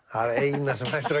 eina sem hægt er